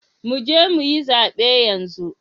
Mu je mu yi zabe yanzu!